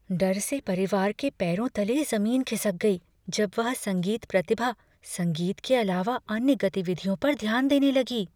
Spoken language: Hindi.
डर से परिवार के पैरों तले ज़मीन ख़िसक गई जब वह संगीत प्रतिभा संगीत के अलावा अन्य गतिविधियों पर ध्यान देने लगी।